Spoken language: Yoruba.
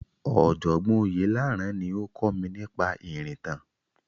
Ọ̀jọ̀gbọ́n Oyelaran ni ó kọ́ mi nípa ìrìntàn.